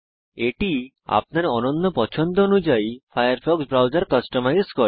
এটি আপনার অনন্য পছন্দ অনুযায়ী ফায়ারফক্স ব্রাউজার কাস্টমাইজ করে